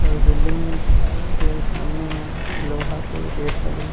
अऊ ए बिल्डिंग के सामने में लोहा के गेट लगे हे।